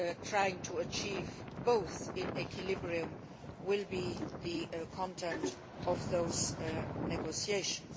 Trying to achieve both in equilibrium will be the content of those negotiations.